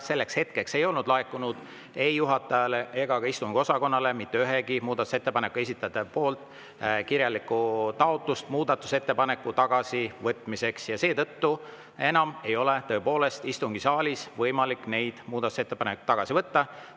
Selleks hetkeks ei olnud laekunud ei juhatajale ega ka istungiosakonnale mitte üheltki muudatusettepaneku esitajalt kirjalikku taotlust muudatusettepaneku tagasivõtmiseks ja seetõttu ei ole enam tõepoolest istungisaalis võimalik neid muudatusettepanekuid tagasi võtta.